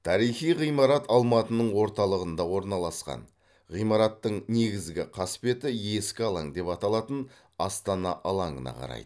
тарихи ғимарат алматының орталығында орналасқан ғимараттың негізгі қасбеті ескі алаң деп аталатын астана алаңына қарайды